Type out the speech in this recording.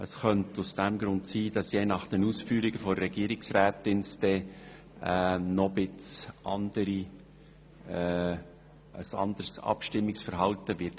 Es könnte aus diesem Grund sein, dass es je nach Ausführungen der Regierungsrätin ein anderes Abstimmungsverhalten geben wird.